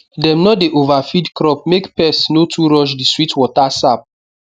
dem no dey overfeed crop make pest no too rush the sweet water sap